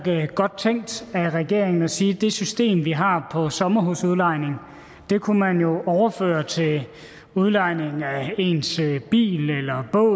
godt tænkt af regeringen at sige at det system vi har på sommerhusudlejning kunne man jo overføre til udlejning af ens bil eller båd